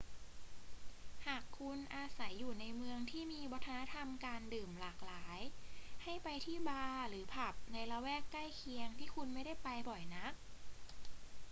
หากคุณอาศัยอยู่ในเมืองที่มีวัฒนธรรมการดื่มหลากหลาย ให้ไปที่บาร์หรือผับในละแวกใกล้เคียงที่คุณไม่ได้ไปบ่อยนัก